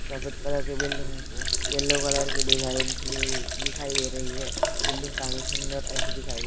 सफेद कलर की building yellow colour के डिजाइन की हुई दिखाई दे रही है बिल्डिंग काफी सुंदर ऐसी दिखाएं--